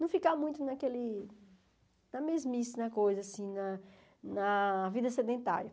Não ficar muito naquele... Na mesmice, na coisa, assim, na na vida sedentária.